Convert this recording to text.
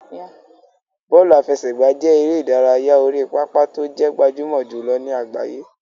Bọ́ọ̀lù àfẹsẹ̀gbá jẹ́ eré ìdárayá orí pápá tó jẹ́ gbajúmọ̀ jùlọ ní àgbáyé.